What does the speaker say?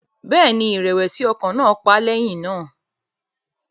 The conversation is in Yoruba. Bẹ́ẹ̀ ni, ìrẹ̀wẹ̀sì ọkàn náà pa á lẹ́yìn náà